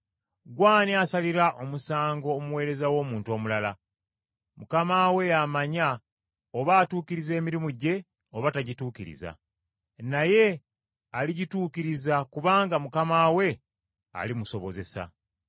Ggwe ani asalira omusango omuweereza w’omuntu omulala? Mukama we y’amanya oba atuukiriza emirimu gye oba tagituukiriza. Naye aligituukiriza kubanga Mukama we alimusobozesa.